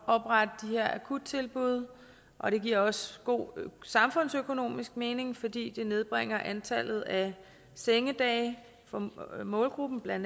oprette de her akuttilbud og det giver også god samfundsøkonomisk mening fordi det nedbringer antallet af sengedage for målgruppen bla